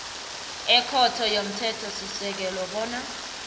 ekhotho yomthethosisekelo bona